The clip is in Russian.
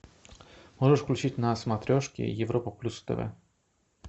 можешь включить на смотрешке европа плюс тв